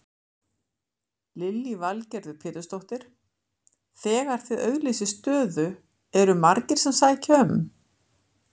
Lillý Valgerður Pétursdóttir: Þegar þið auglýsið stöðu eru margir sem sækja um?